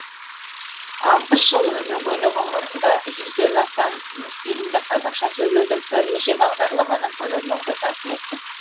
алпыс жыл өнегелі ғұмырында жүзден астам фильмді қазақша сөйлетіп бірнеше бағдарламаны көрерменге тарту еткен